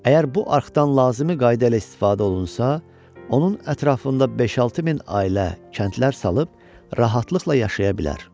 Əgər bu arxdan lazımi qayda ilə istifadə olunsa, onun ətrafında 5-6 min ailə kəndlər salıb rahatlıqla yaşaya bilər.